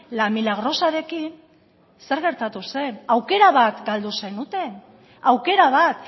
la milagrosarekin zer gertatu zen aukera bat galde zenuten aukera bat